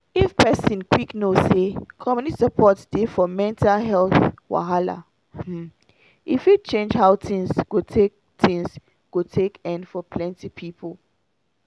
if person quick know say community support dey for mental wahala um e fit change how things go take things go take end for plenty people